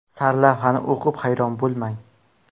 Sarlavhani o‘qib hayron bo‘lmang!